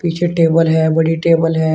पीछे टेबल है बड़ी टेबल है।